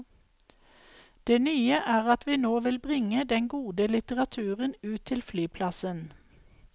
Det nye er at vi nå vil bringe den gode litteraturen ut til flyplassen.